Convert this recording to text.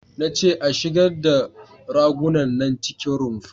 Na ce a shigar da ragunan nan cikin rumfa!